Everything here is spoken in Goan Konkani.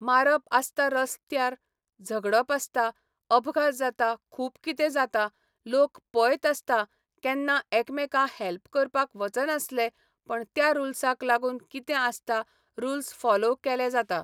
मारप आसता रसत्यार झगडप आसता अपघात जाता खूब किदें जाता लोक पयत आसता केन्ना एकमेका हेल्प करपाक वचनासलें पण त्या रुल्साक लागून कितें आसता रुल्स फोलोव केलें जाता